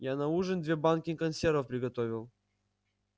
я на ужин две банки консервов приготовил